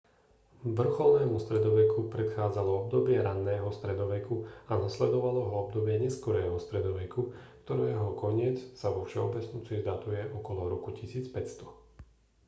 vrcholnému stredoveku predchádzalo obdobie raného stredoveku a nasledovalo ho obdobie neskorého stredoveku ktorého koniec sa vo všeobecnosti datuje okolo roku 1500